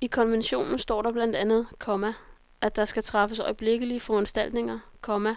I konventionen står blandt andet, komma at der skal træffes øjeblikkelige foranstaltninger, komma